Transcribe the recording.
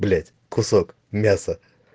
блядь кусок мяса